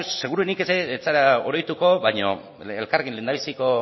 seguruenik ez zara oroituko baina elkarrekin lehendabiziko